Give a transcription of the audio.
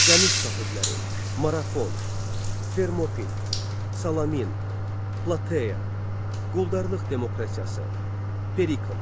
Dəniz sahibləri, Marafon, Fermopil, Salamin, Plateya, Quldarlıq demokratiyası, Perikl.